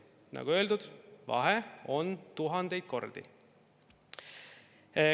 Nagu öeldud, vahe on tuhandeid kordi.